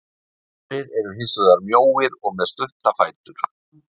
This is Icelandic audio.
Aðrir eru hins vegar mjóir og með mjög stutta fætur.